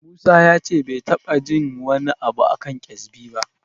Musa ya ce bai taɓa jin wani abu a kan ƙyezbi ba.